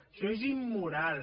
això és immoral